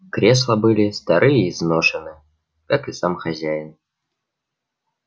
кресла были стары и изношены как и сам хозяин